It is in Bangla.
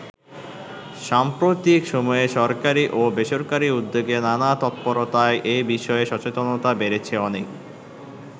সাম্প্রতিক সময়ে সরকারী ও বেসরকারি উদ্যোগে নানা তৎপরতায় এ বিষয়ে সচেতনতা বেড়েছে অনেক।